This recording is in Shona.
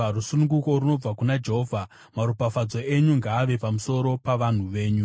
Rusununguko runobva kuna Jehovha. Maropafadzo enyu ngaave pamusoro pavanhu venyu. Sera